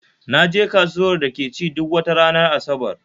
Naje kasuwar da ke ci duk wata ranar Asabar